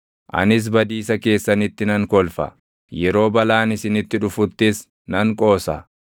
anis badiisa keessanitti nan kolfa, yeroo balaan isinitti dhufuttis nan qoosa;